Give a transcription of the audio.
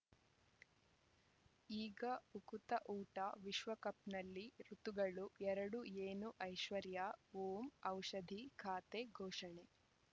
ಈಗ ಉಕುತ ಊಟ ವಿಶ್ವಕಪ್‌ನಲ್ಲಿ ಋತುಗಳು ಎರಡು ಏನು ಐಶ್ವರ್ಯಾ ಓಂ ಔಷಧಿ ಖಾತೆ ಘೋಷಣೆ